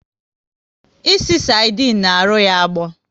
Ịsị sardine na arụ ya agbọ